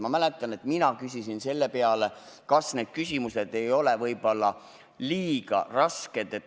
Ma mäletan, et küsisin selle peale, kas need küsimused ei ole liiga rasked.